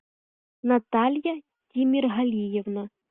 наталья тимергалиевна